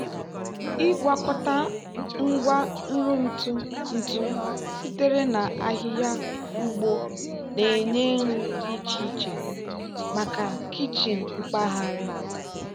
ịgwakọta ngwa nri ntụ ntụ sitere na ahịhịa ugbo na-enye nri dị iche iche maka kichin mpaghara.